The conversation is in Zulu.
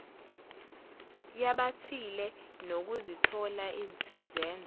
yabathile nokuzithola izenzo